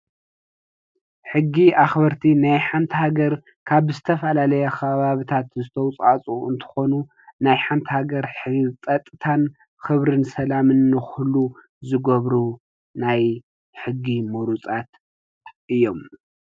ሕጊ አኽበርቲ ናይ ሓንቲ ሃገር ካብ ዝተፈላለዩ ከባቢታት ዝተዋፃፅኡ እንትኮኑ ናይ ሓንቲ ሃገር ህንፀታን ኽብራን ሰላምን ንክህሉ ዝገብሩ ናይ ሕጊ ምሩፃት እዮም